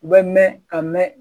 U bɛ mɛn ka mɛn